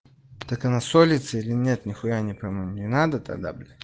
так она с улице или нет нехуя не поиму не надо тогда блядь